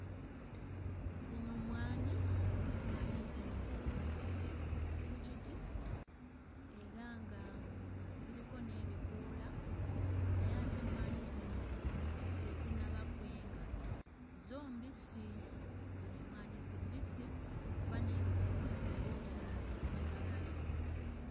Zino mmwanyi, mmwanyi ziri ku ziri ku ku kiti era nga ziriko n'ebikoola naye ate emmwanyi zino tezinnaba kwenga, zo mbisi, zino emmwanyi zi mbisi kuba n'ebikoola nabyo bya bya kiragala.